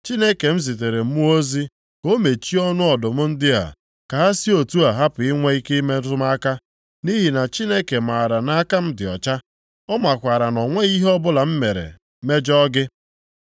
Chineke m zitere mmụọ ozi ka o mechie ọnụ ọdụm ndị a, ka ha si otu a hapụ inwe ike ịmetụ m aka, nʼihi na Chineke maara na aka m dị ọcha. Ọ makwaara na o nweghị ihe ọbụla m mere mejọọ gị.”